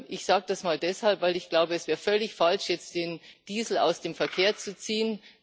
Ich sage das deshalb, weil ich glaube, es wäre völlig falsch, jetzt den Diesel aus dem Verkehr zu ziehen.